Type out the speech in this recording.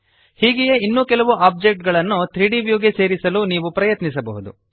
ಹೀಗೆಯೇ ಇನ್ನೂ ಕೆಲವು ಆಬ್ಜೆಕ್ಟ್ ಗಳನ್ನು 3ದ್ ವ್ಯೂ ಗೆ ಸೇರಿಸಲು ನೀವು ಪ್ರಯತ್ನಿಸಬಹುದು